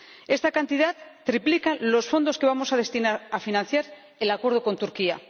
Esta cantidad triplica los fondos que vamos a destinar a financiar el acuerdo con Turquía.